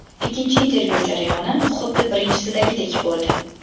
Ikkinchi intervyu jarayoni xuddi birinchisidagidek bo‘ldi.